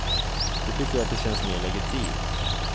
De tycker att det känns mer legitimt.